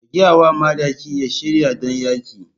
Ka gaya wa madakin ya shirya don yaƙi.